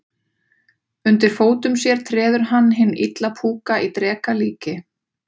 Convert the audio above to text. Undir fótum sér treður hann hinn illa púka í dreka líki.